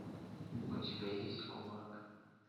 у тебя есть кулак